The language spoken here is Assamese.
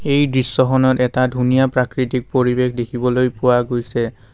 এই দৃশ্যখনত এটা ধুনীয়া প্ৰাকৃতিক পৰিৱেশ দেখিবলৈ পোৱা গৈছে।